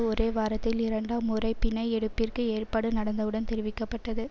ஒரே வாரத்தில் இரண்டாம் முறை பிணை எடுப்பிற்கு ஏற்பாடு நடந்தவுடன் தெரிவிக்க பட்டது